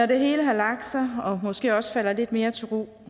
det hele har lagt sig og måske også falder lidt mere til ro